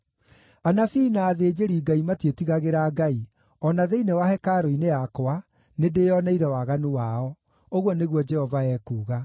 “Anabii na athĩnjĩri-Ngai matiĩtigagĩra Ngai; o na thĩinĩ wa hekarũ-inĩ yakwa, nĩndĩĩoneire waganu wao,” ũguo nĩguo Jehova ekuuga.